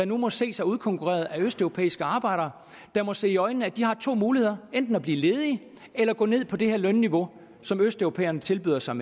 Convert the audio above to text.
nu må se sig udkonkurreret af østeuropæiske arbejdere og se i øjnene at de har to muligheder enten at blive ledige eller at gå ned på det lønniveau som østeuropæerne tilbyder sig